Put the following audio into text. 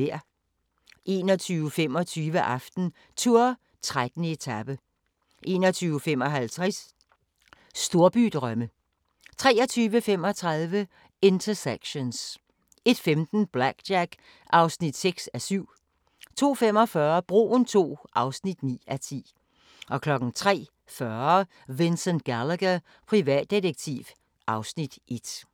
21:25: AftenTour: 13. etape 21:55: Storbydrømme 23:35: Intersections 01:15: BlackJack (6:7) 02:45: Broen II (9:10) 03:40: Vincent Gallagher, privatdetektiv (Afs. 1)